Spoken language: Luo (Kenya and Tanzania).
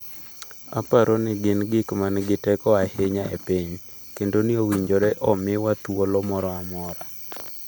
‘Aparo ni gin gik ma nigi teko ahinya e piny, kendo ni owinjore omiwa thuolo moro amora.